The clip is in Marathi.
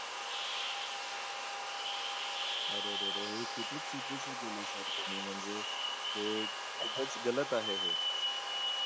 अरे रे रे हे खूपच चुकीचे केल sir तुम्ही म्हणजे हे खूपच गलत आहे